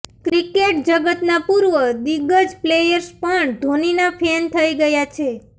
cricket જગતના પૂર્વ દિગ્ગજ પ્લેયર્સ પણ ધોનીના ફેન થઈ ગયા છે